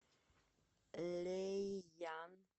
лэйян